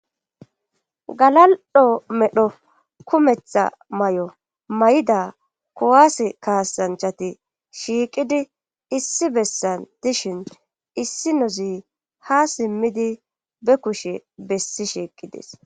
Galal'o medho kumetha may7o may7da kuwaase kaasanchati shiiqidi issi bessan dishin issi nozi ha simmidi be kushe bessi sheeqides.